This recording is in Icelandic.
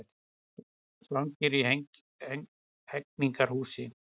Svangir í Hegningarhúsi